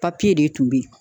Papiye de tun be yen